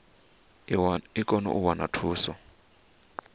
i kone u wana thuso